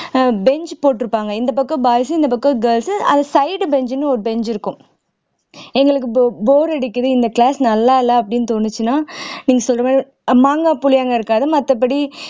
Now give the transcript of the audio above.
ஆஹ் bench போட்டிருப்பாங்க இந்தப் பக்கம் boys உ இந்தப் பக்கம் girls உ side bench ன்னு ஒரு bench இருக்கும் எங்களுக்கு box bore அடிக்குது இந்த class நல்லா இல்லை அப்படின்னு தோணுச்சுன்னா நீங்க சொல்ற மாதிரி அஹ் மாங்காய் புளியங்கா இருக்காது மத்தபடி